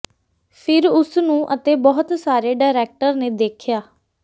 ਫਿਰ ਉਸ ਨੂੰ ਅਤੇ ਬਹੁਤ ਸਾਰੇ ਡਾਇਰੈਕਟਰ ਨੇ ਦੇਖਿਆ